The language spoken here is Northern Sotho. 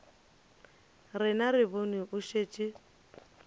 rena re bone o šetše